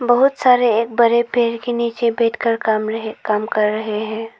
बहुत सारे एक बड़े पेड़ के नीचे बैठकर काम रहे काम कर रहे हैं।